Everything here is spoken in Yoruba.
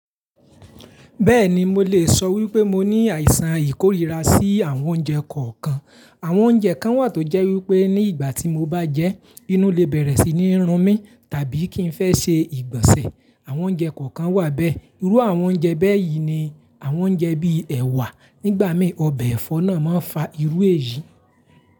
Bẹ́ẹ̀ni mo lè sọ wípé mo ní àìsàn ìkóríra sí àwọn oúnjẹ kọ̀ọ̀kan. Àwọn oúnjẹ kan wà tó jẹ́ wípé ní ìgbà tí mo bá jẹ́, inú le bẹ̀rẹ̀ sí ní run mí tàbí kí n fẹ́ ṣe ìgbọ̀nsẹ̀. Àwọn oúnjẹ kọ̀ọ̀kan wà bẹ́ẹ̀. Irú àwọn oúnjẹ bẹ́ẹ̀ yìí ni àwọn oúnjẹ bíi ẹ̀wà. Nígbà mí, ọbẹ̀ ẹ̀fọ́ náà máa ń fa irú èyí.